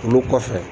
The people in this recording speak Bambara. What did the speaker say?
Olu kɔfɛ